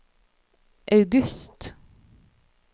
august